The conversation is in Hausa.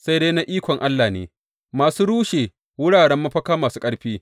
Sai dai na ikon Allah ne, masu rushe wuraren mafaka masu ƙarfi.